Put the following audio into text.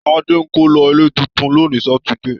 Tadé ń kó lọ ilé tuntun lónìí Sátidé